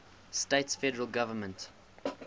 states federal government